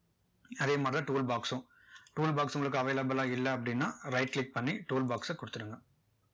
அதே மாதிரி தான் tool box சும் tool box உங்களுக்கு avaiilable லா இல்ல அப்படின்னா right click பண்ணி tool box ச கொடுத்துடுங்க